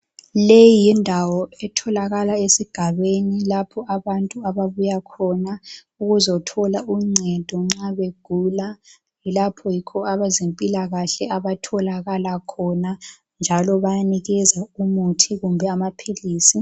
Leyi yindawo etholakala esigabeni lapho abantu ababuya khona ukuzothola uncedo nxa begula. Lapho yikho abezempilakahle abatholakala khona njalo bayanikeza umuthi kumbe amaphilisi.